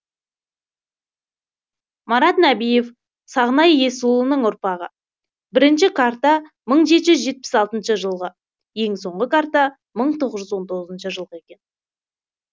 марат нәбиев сағынай есұлының ұрпағы бірінші карта мың жеті жүз жетпіс алтыншы жылғы ең соңғы карта мың тоғыз жүз он тоғызыншы жылғы екен